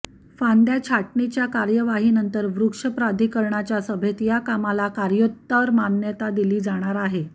फांद्या छाटणीच्या कार्यवाहीनंतर वृक्ष प्राधिकरणाच्या सभेत या कामाला कार्योत्तर मान्यता दिली जाणार आहे